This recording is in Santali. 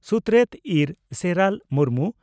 ᱥᱩᱛᱨᱮᱛ ᱤᱨ ᱥᱮᱨᱟᱞ ᱢᱩᱨᱢᱩ